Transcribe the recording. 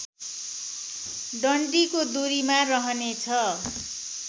डन्डीको दुरीमा रहनेछ